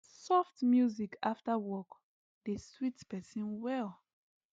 soft music after work dey sweet person well